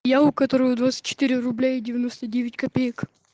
я у которого двадцать четыре рубля и девяносто девять копеек